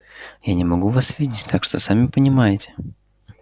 я не могу вас видеть так что сами понимаете